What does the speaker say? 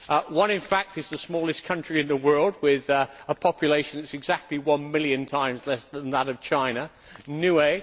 One, in fact, is the smallest country in the world, with a population that is exactly one million times less than that of China Nauru.